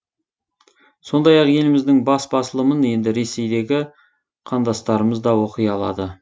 сондай ақ еліміздің бас басылымын енді ресейдегі қандастырымыз да оқи алады